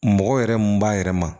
Mɔgɔ yɛrɛ mun b'a yɛrɛ ma